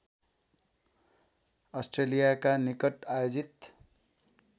अस्ट्रेलियाका निकट आयोजित